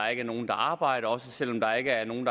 er nogen der arbejder og også selv om der ikke er nogen